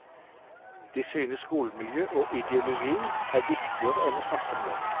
De synes skolemiljø og ideologi er viktigere enn å snakke om lønn.